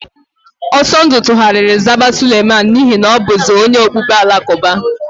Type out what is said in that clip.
Ọsọndụ tugharịrị zaba Suleman n'ihi na ọ bụzi onye okpukpere Alakụba.